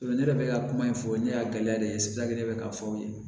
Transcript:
Ne yɛrɛ bɛ ka kuma in fɔ ne y'a gɛlɛya de ye ne bɛ k'a fɔ aw ye